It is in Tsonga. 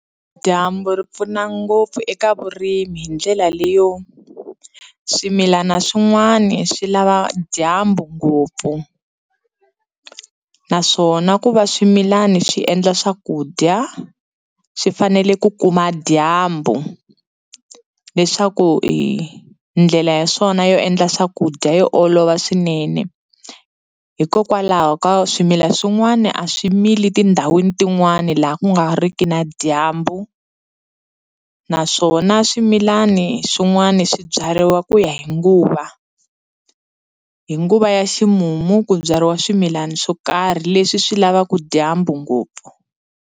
Dyambu ri pfuna ngopfu eka vurimi hi ndlela leyo swimilana swin'wani swi lava dyambu ngopfu naswona ku va swimilana swi endla swakudya swi fanele ku kuma dyambu leswaku ndlela ya swona yo endla swakudya yi olova swinene hikokwalaho ka swimila swin'wani a swi mili tindhawini tin'wani laha ku nga ri ki na dyambu naswona swimilani swin'wana swibyariwa ku ya hi nguva hi nguva ya ximumu ku byariwa swimilana swo karhi leswi swi lavaka dyambu ngopfu.